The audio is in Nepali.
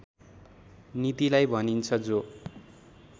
नीतिलाई भनिन्छ जो